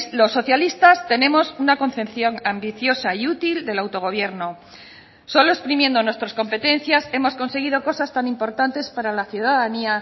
los socialistas tenemos una concepción ambiciosa y útil del autogobierno solo exprimiendo nuestras competencias hemos conseguido cosas tan importantes para la ciudadanía